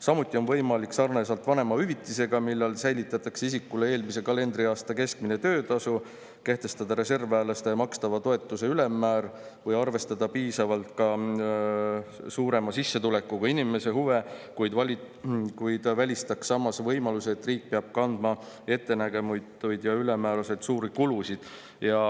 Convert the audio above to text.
"Samuti on võimalik sarnaselt vanemahüvitisega, millal säilitatakse isikule eelmise kalendriaasta keskmine töötasu, kehtestada reservväelastele makstava toetuse ülemmäär, mis arvestaks piisavalt ka suurema sissetulekuga inimese huve, kuid välistaks samas võimaluse, et riik peab kandma ettenägematuid ja ülemäära suuri kulusid.